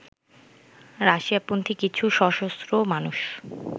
রাশিয়াপন্থী কিছু সশস্ত্র মানুষ